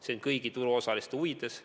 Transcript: See on kõigi turuosaliste huvides.